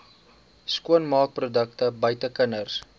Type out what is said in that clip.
skoonmaakprodukte buite kinders